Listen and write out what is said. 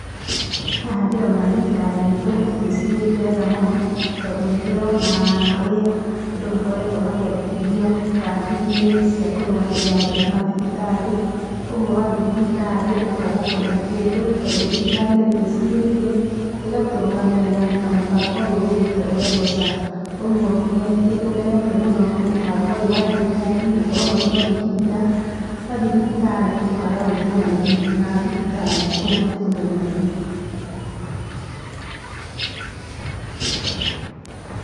Haha ndĩrona thirikari itũ ĩtwicirĩtie wega mũno tondũ ni ndĩrona ũrĩa andũ makoretwo makĩandikithio kandi-inĩ cia kũrĩha marĩhi mathibitarĩ, ũguo wathiĩ thibitarĩ ũkaga kũrĩha kĩndũ tondũ thirikari nĩ ĩtwĩcirĩtie, ĩgatũrũgamĩrĩra na mũbango ũyũ ukite ũretwo SHA. Ũguo nĩ tũkenetio mũno nĩ mũbango ũyũ wa thirikari, gũkorwo magĩtwandĩkithia, twathiĩ thibitarĩ tukaga gwĩtio marĩhi ma thibitarĩ, ũguo nĩ tũkenete mũno.